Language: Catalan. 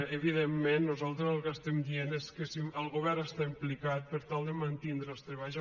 evidentment nosaltres el que diem és que el govern està implicat per tal de mantindre els treballs